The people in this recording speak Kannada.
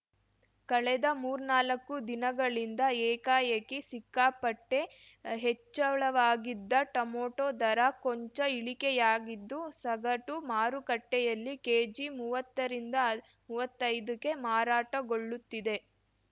ಕಳೆದ ಮೂರ್ನಾಲ್ಕು ದಿನಗಳಿಂದ ಏಕಾಏಕಿ ಸಿಕ್ಕಾಪಟ್ಟೆಹೆಚ್ಚಳವಾಗಿದ್ದ ಟೊಮಟೊ ದರ ಕೊಂಚ ಇಳಿಕೆಯಾಗಿದ್ದು ಸಗಟು ಮಾರುಕಟ್ಟೆಯಲ್ಲಿ ಕೆಜಿ ಮೂವತ್ತರಿಂದಮುವತ್ತೈದಗೆ ಮಾರಾಟಗೊಳ್ಳುತ್ತಿದೆ